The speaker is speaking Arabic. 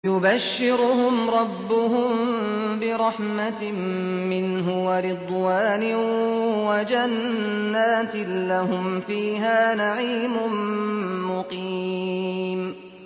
يُبَشِّرُهُمْ رَبُّهُم بِرَحْمَةٍ مِّنْهُ وَرِضْوَانٍ وَجَنَّاتٍ لَّهُمْ فِيهَا نَعِيمٌ مُّقِيمٌ